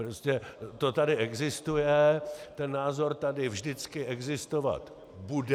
Prostě to tady existuje, ten názor tady vždycky existovat bude.